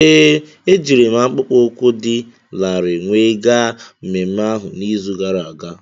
Ee, ejiri m akpụkpọ ụkwụ dị larịị wee gaa mmemme ahu n'izu gara aga.